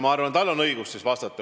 Ma arvan, et temal on õigus hinnata.